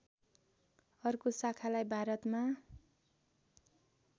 अर्को शाखालाई भारतमा